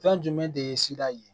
Fɛn jumɛn de ye sira ye